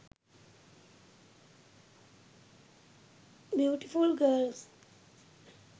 beautiful girls